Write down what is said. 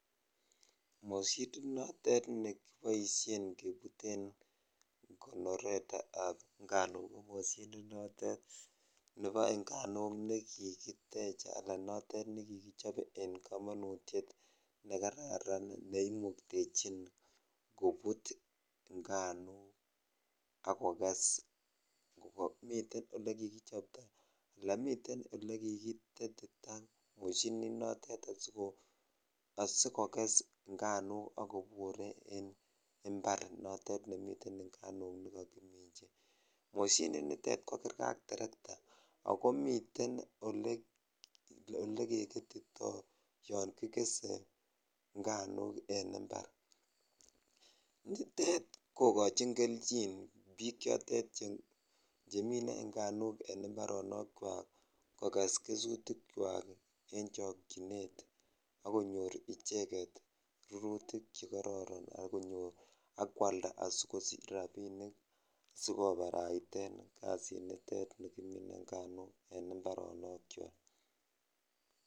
Moshinit nootet nekiboishen kebuten konoretab nganuk ko moshinit notet nebo nganuk nekikitech alaa notet nekikichob en komonutiet nekararan neimuktechin kobut nganuk ak kokes, miten olekikichopto alaa miten olekikitetita moshininotet asikokes ng'anuk ak kobur en imbar notet nemiten nganuk nekokiminchi, moshinitet ko kerke ak terekta ak ko miten olekeketito yoonkikese nganuk en imbar, nitet kokochin kelchin biik chotet chemine nganuk en mbaronokwak kokes kesutikwak en chokyinet ak konyor icheket rurutik chekororon ak konyor ak kwalda asikosich rabinik sikobaraiten kasinitet nikimine nganuk en mbaronokwak.